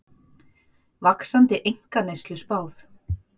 Vaxandi einkaneyslu spáð